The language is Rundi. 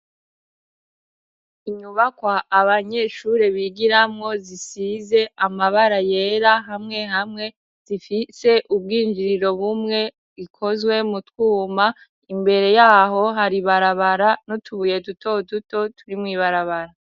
Inyubakwa abanyeshure bigiramwo zisize amabara yera hamwe hamwe zifise ubwinjiriro bumwe ikozwe mu twuma imbere y'aho hari barabara no tubuye duto duto turi mw'ibarabara.